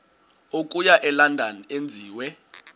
okuya elondon enziwe